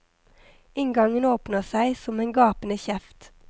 Inngangen åpner seg som en gapende kjeft.